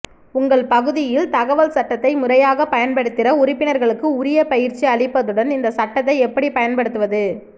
உங்கள் பகுதியில் தகவல் சட்டத்தை முறையாக பயன்படுத்திட உறுப்பினர்களுக்கு உரிய பயிற்சி அளிப்பதுடன் இந்த சட்டத்தை எப்படி பயன்படுத்துவது